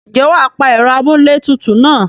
Ǹjẹ́ wà á pa ẹ̀rọ amúlé tutù náà?